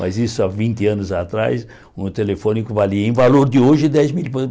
Mas isso há vinte anos atrás, um telefone que valia em valor de hoje dez milhões.